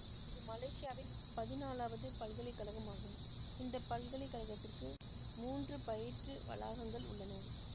இது மலேசியாவின் பதினாலாவது பல்கலை கழகம் ஆகும் இந்த பல்கலை கழகத்திற்கு மூன்று பயிற்று வளாகங்கள் உள்ளன